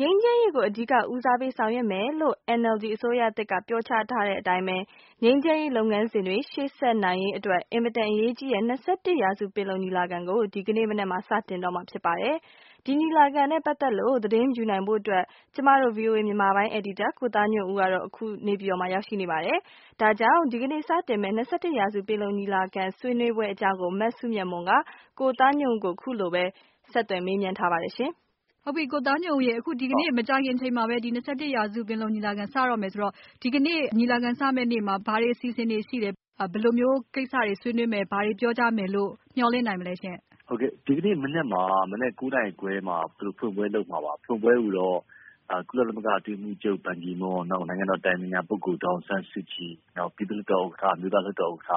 ငြိမ်းချမ်းရေးကို အဓိက ဦးစားပေးဆောင်ရွက်မယ်လို့ NLD အစိုးရသစ်က ပြောကြားထားတဲ့အတိုင်း ငြိမ်းချမ်းရေးလုပ်ငန်းစဉ်တွေ ရှေ့ဆက်နိုင်ရေး အင်မတန်အရေးကြီးတဲ့ ၂၁ ရာစု ပင်လုံညီလာခံကို ဒီကနေ့ စတင်တော့မှာ ဖြစ်ပါတယ်။ ဒီညီလာခံနဲ့ ပတ်သက်လို့ သတင်းယူနိုင်ဖို့အတွက် ကျမတို့ ဗွီအိုအေမြန်မာပိုင်း အယ်ဒီတာ ကိုသားညွန့်ဦးလည်း အခု နေပြည်တော်မှာ ရောက်နေပါတယ်။ ဒါကြောင့် ဒီကနေ့ စတင်မယ့် ၂၁ ရာစု ပင်လုံညီလာခံ ဆွေးနွေးပွဲအကြောင်း မစုမြတ်မွန်က ကိုသားညွန့်ဦးကို ဆက်သွယ်မေးမြန်းထားပါတယ်။ မေး - ကိုသားညွန့်ဦးရေ ဒီကနေ့ မကြာခင်အချိန်မှာပဲ ၂၁ ရာစု ပင်လုံညီလာခံ စတော့မယ်ဆိုတော့ ဒီကနေ့ ညီလာခံစမယ့်နေ့မှာ ဘာတွေအစီအစဉ်တွေရှိတယ်၊ ဘယ်လိုမျိုးကိစ္စတွေ ဆွေးနွေးမယ်၊ ဘာတွေပြောကြမယ်လို့ မျှော်လင့်နိုင်မလဲရှင့်။ ဖြေ - ဒီကနေ့မနက် ၉ နာရီခွဲမှာ သူတို့ဖွင့်ပွဲလုပ်မှာပါ။ ဖွင့်ပွဲကိုတော့ ကုလသမဂ္ဂ အတွင်းရေးမှူးချုပ် ဘန်ကီမွန်း၊ နောက် နိုင်ငံတော်၏ အတိုင်ပင်ခံပုဂ္ဂိုလ် ဒေါ်အောင်ဆန်းစုကြည်၊ နောက် ပြည်သူ့လွှတ်တော်ဥက္ကဌ၊ အမျိုးသားလွှတ်တော်ဥက္က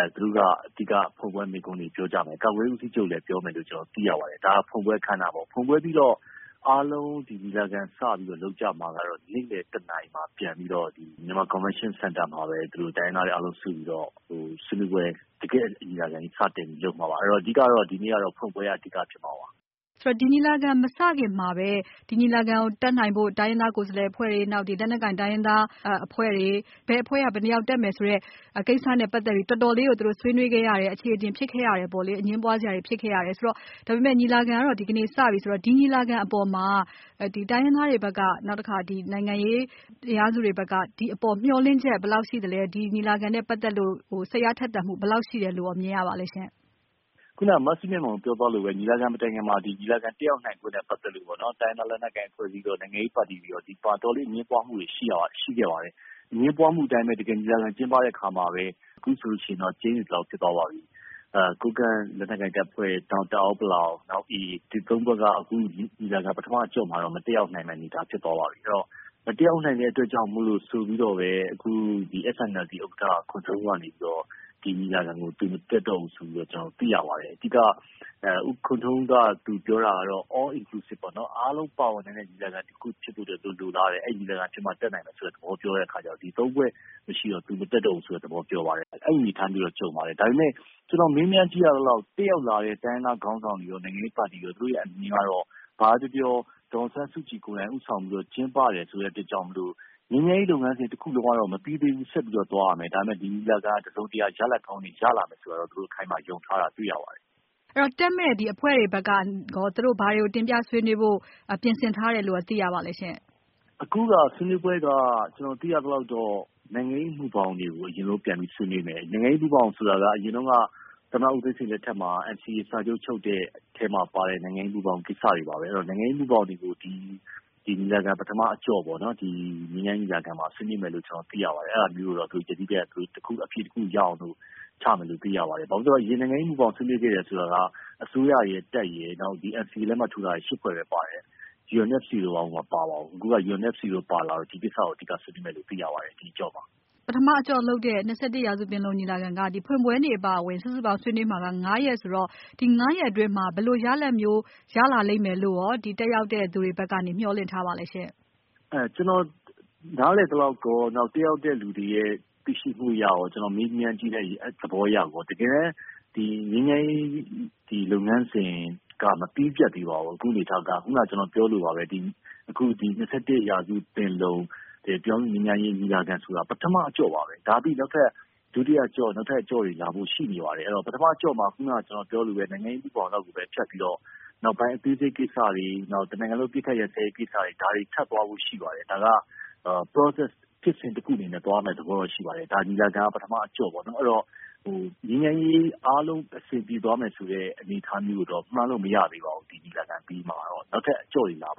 ဌ သူတို့ကနေ အဓိက ဖွင့်ပွဲမိန့်ခွန်းတွေ ပြောကြမယ်။ ကာကွယ်ရေးဦးစီးချုပ်လည်း ပြောမယ်လို့ ကျနော်တို့ သိရပါတယ်။ ဒါ ဖွင့်ပွဲအခမ်းအနားပေါ့။ ဖွင့်ပွဲပြီးတော့ အားလုံး ညီလာခံစပြီးတော့ လုပ်ကြမှာကတော့ နေ့လည် ၁ နာရီမှာ ပြန်ပြီးတော့ Myanmar Convention Center မှာပဲ တိုင်းရင်းသားတွေအားလုံး စုပြီးတော့ တကယ့် ညီလာခံကြီး စတင်ပြီးတော့ လုပ်မှာပါ။ အဲတော့ အဓိကကတော့ ဒီနေ့ကတော့ ဖွင့်ပွဲက အဓိကဖြစ်မှာပါ။ မေး - ဆိုတော့ ဒီညီလာခံမစခင်မှာပဲ ဒီညီလာခံကို တက်နိုင်ဖို့ တိုင်းရင်းသားကိုယ်စားလှယ်အဖွဲ့တွေ၊ လက်နက်ကိုင်တိုင်းရင်းသားအဖွဲ့တွေ၊ ဘယ်အဖွဲ့က ဘယ်နှစ်ယောက်တက်မယ်ဆိုတဲ့ ကိစ္စနဲ့ပတ်သက်ပြီး တော်တော်လေးကို သူတို့ ဆွေးနွေးခဲ့ရတယ်၊ အချေအတင်ဖြစ်ခဲ့ရတယ်ပေါ့လေ။ အငြင်းပွားစရာတွေ ဖြစ်ခဲ့ရတယ်ဆိုတော့ - ညီလာခံကတော့ ဒီကနေ့ စပြီဆိုတော့ ဒီညီလာခံအပေါ်မှာ တိုင်းရင်းသားတွေဘက်က နောက်တခါ နိုင်ငံရေးအင်အားစုတွေဘက်က ဒီအပေါ် မျှော်လင့်ချက် ဘယ်လောက်ရှိသလဲ။ ဒီညီလာခံနဲ့ပတ်သက်လို့ စိတ်အားထက်သန်မှု ဘယ်လောက်ရှိတယ်လို့ရော မြင်ရပါသလဲ။ ဖြေ - ခုနက မစုမြတ်မွန် ပြောသွားသလိုပဲ ညီလာခံမတိုင်ခင်မှာ ညီလာခံတက်ရောက်နိုင်ဖို့နဲ့ ပတ်သက်လို့ပေါ့နော် တိုင်းရင်းသား လက်နက်ကိုင် အဖွဲ့အစည်းရော၊ နိုင်ငံရေးပါတီတွေရော ဒီအပေါ် အတော်လေး အငြင်းပွားမှုတွေ ရှိခဲ့ပါတယ်။ အငြင်းပွားမှုအတိုင်းပဲ တကယ်ညီလာခံကျင်းပတဲ့ အခါမှာလည်း အခုဆိုရင်တော့ ကျိန်းသေသလောက် ဖြစ်သွားပါပြီ။ ကိုးကန့်လက်နက်ကိုင်တပ်ဖွဲ့၊ နောက် တအာင်း-ပလောင်၊ နောက် AA ရခိုင့်တပ်မတော် အဲဒီ ၃ ဖွဲ့က အခု ညီလာခံ ပထမအကျော့မှာတော့ မတက်ရောက်နိုင်မယ့် အနေအထား ဖြစ်သွားပါပြီ။ အဲတော့ မတက်ရောက်နိုင်မယ့် အတွက်ကြောင့်မို့လို့ဆိုပြီးတော့ပဲ အခု SNLD ဥက္ကဌ ခွန်ထွန်းဦးကနေပြီးတော့ ဒီညီလာခံကို သူ မတက်တော့ဘူးဆိုပြီးတော့ ကျနော်တို့ သိရပါတယ်။ အဓိက ခွန်ထွန်းဦး ပြောတာကတော့ All Inclusive ပေါ့နော် အားလုံး ပါဝင်နိုင်တဲ့ ညီလာခံတခုဖြစ်ဖို့ သူတို့ လိုလားတယ်။ အဲလိုညီလာခံဖြစ်မှ တက်နိုင်မယ်ဆိုတဲ့သဘော ပြောတဲ့အခါကျတော့ ဒီ ၃ ဖွဲ့ မရှိတော့ သူ မတက်တော့ဘူးဆိုတဲ့သဘော ပြောပါတယ်။ အဲဒီအနေအထားမျိုးတော့ ကြုံပါတယ်။ ဒါပေမဲ့ ကျနော် မေးမြန်းကြည့်ရသလောက် တက်ရောက်လာတဲ့ တိုင်းရင်းသားခေါင်းဆောင်တွေရော၊ နိုင်ငံရေးပါတီတွေရော သူတို့ရဲ့ အမြင်ကတော့ ဘာပဲပြောပြော ဒေါ်အောင်ဆန်းစုကြည်ကိုယ်တိုင် ဦးဆောင်ပြီးတော့ ကျင်းပတယ်ဆိုတဲ့အတွက်ကြောင့် ငြိမ်းချမ်းရေးလုပ်ငန်းစဉ်တခုလုံးကတော့ မပြီးသေးဘူး ဆက်ပြီးတော့ သွားရမယ်။ ဒါပေမဲ့ ဒီညီလာခံက တစုံတရာ ရလဒ်ကောင်းတွေ ရလာလိမ့်မယ်လို့တော့ အခိုင်အမာ ယုံထားတာ တွေ့ရပါတယ်။ မေး - အဲတော့ တက်မယ့် ဒီအဖွဲ့တွေဘက်က သူတို့ ဘာတွေကို တင်ပြဆွေးနွေးဖို့ ပြင်ဆင်ထားတယ်လို့ရော သိရပါသလဲရှင့်။ ဖြေ - အခုက ဆွေးနွေးပွဲက ကျနော် သိရသလောက်တော့ နိုင်ငံရေးမူဘောင်တွေကို အရင်ဆုံး ပြန်ပြီး ဆွေးနွေးမယ်။ နိုင်ငံရေးမူဘောင်ဆိုတာက အရင်တုန်းက သမ္မတဦးသိန်းစိန်လက်ထက်မှာ NCA စာချုပ်ချုပ်တဲ့ အထဲမှာပါတဲ့ နိုင်ငံရေးမူဘောင်ကိစ္စတွေပါပဲ။ အဲတော့ နိုင်ငံရေးမူဘောင်တွေကို ဒီညီလာခံပထမအကျော့ ငြိမ်းချမ်းရေးညီလာခံမှာ ဆွေးနွေးမယ်လို့ သိရပါတယ်။ အဲဒါမျိုးကိုတော့ သူတို့ ယတိပြတ်အဖြေတခုရအောင်လို့ ချမယ်လို့ သိရပါတယ်။ ဘာဖြစ်လို့လဲဆိုတော့ အရင် နိုင်ငံရေးမူဘောင်ဆွေးနွေးခဲ့တယ်ဆိုတာက အစိုးရရယ်၊ တပ်ရယ်၊ NCA လက်မှတ်ထိုးထားတဲ့ ၈ ဖွဲ့ပဲ ပါတယ်။ UNFC တို့ ဘာတို့ မပါပါဘူး။ အခုက UNFC တို့ ပါလာတော့ ဒီကိစ္စကို အဓိကဆွေးနွေးမယ်လို့ သိရပါတယ် ဒီအကျော့မှာ။ မေး - ပထမအကျော့လုပ်တဲ့ ၂၁ ရာစုပင်လုံညီလာခံက ဖွင့်ပွဲနေ့အပါအဝင် စုစုပေါင်း ဆွေးနွေးမှာက ၅ ရက်ဆိုတော့ ဒီ ၅ ရက်အတွင်းမှာ ဘယ်လိုရလဒ်မျိုး ရလာလိမ့်မယ်လို့ တက်ရောက်တဲ့သူတွေဘက်က မျှော်လင့်ထားပါသလဲရှင့်။ ဖြေ - ကျနော် နားလည်သလောက်ရော၊ တက်ရောက်တဲ့သူတွေရဲ့ သိရှိမှုအရရော ကျနော် မေးမြန်းကြည့်တဲ့သဘောအရရော တကယ်တမ်း ငြိမ်းချမ်းရေး လုပ်ငန်းစဉ်က မပြီးပြတ်သေးပါဘူး။ အခုအနေအထားက ခုနက ကျနော်ပြောသလိုပါပဲ ၂၁ ရာစုပင်လုံ ပြည်ထောင်စုငြိမ်းချမ်းရေးညီလာခံဆိုတာ ပထမအကျော့ပါပဲ။ ဒါပြီးရင် နောက်ထပ် ဒုတိယအကျော့၊ နောက်ထပ်အကျော့တွေလည်း လာဖို့ ရှိနေပါတယ်။ ပထမအကျော့မှာတော့ ခုနက ကျနော်ပြောသလိုပါပဲ နိုင်ငံရေးမူဘောင်လောက်ကိုပဲ ဖြတ်ပြီးတော့ နောက်ပိုင်းအသေးစိတ်ကိစ္စတွေ နောက်ပြီးတော့ တနိုင်ငံလုံး အပစ်အခတ်ရပ်စဲရေးကိစ္စတွေ ဒါတွေ ထပ်သွားဖို့ရှိပါတယ်။ ဒါက process ဖြစ်စဉ်တခုအနေနဲ့ သွားမယ့်သဘောတော့ ရှိပါတယ်။ ဒီညီလာခံက ပထမအကျော့ပေ့ါနော်။ ငြိမ်းချမ်းရေးအားလုံး အဆင်ပြေသွားမယ်ဆိုတဲ့ အနေအထားမျိုးကိုတော့ မှန်းလို့ မရသေးပါဘူး။ ဒီညီလာခံအပြီးမှာတော့။ နောက်ထပ်အကျော့တွေ လာပါ